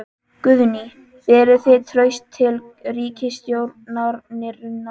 Guðný: Berið þið traust til ríkisstjórnarinnar?